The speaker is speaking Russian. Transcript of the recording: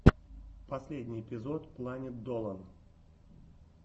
последний эпизод планет долан